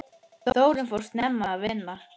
Þórunn fór snemma að vinna.